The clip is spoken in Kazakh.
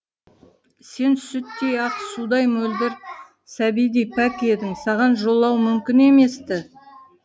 сен сүттей ақ судай мөлдір сәбидей пәк едің саған жолау мүмкін емес ті